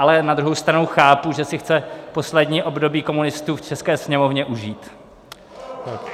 Ale na druhou stranu chápu, že si chce poslední období komunistů v české Sněmovně užít.